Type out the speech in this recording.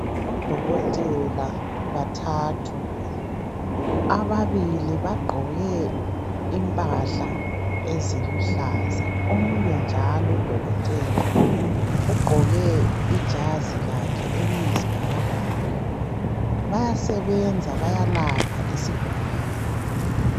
Odokotela bathathu, ababili bagqoke impahla eziluhlaza omunye njalo udokotela ugqoke ijazi lakhe eliyisibhakabhaka bayasebenza bayalapha isigulane.